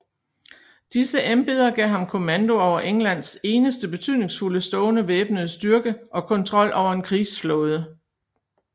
Disse embeder gav ham kommando over Englands eneste betydningsfulde stående væbnede styrke og kontrol over en krigsflåde